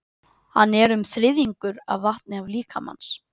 Hann er um þriðjungur af vatni líkamans.